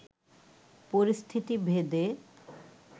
পরিস্থিতি ভেদে